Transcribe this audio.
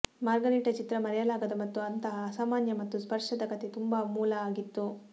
margarita ಚಿತ್ರ ಮರೆಯಲಾಗದ ಮತ್ತು ಅಂತಹ ಅಸಾಮಾನ್ಯ ಮತ್ತು ಸ್ಪರ್ಶದ ಕಥೆ ತುಂಬಾ ಮೂಲ ಆಗಿತ್ತು